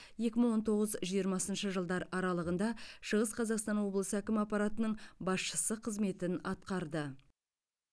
екі мың он тоғыз жиырмасыншы жылдар аралығында шығыс қазақстан облысы әкімі аппаратының басшысы қызметін атқарды